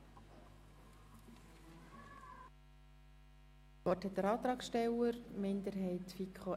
Das Wort hat nun Grossrat Kipfer als Antragsteller für die FiKo-Minderheit I.